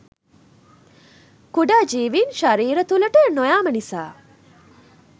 කුඩා ජීවින් ශරීර තුළට නොයාම නිසා